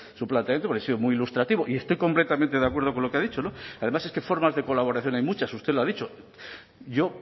su planteamiento porque ha sido muy ilustrativo y estoy completamente de acuerdo con lo que ha dicho no además es que formas de colaboración hay muchas usted lo ha dicho yo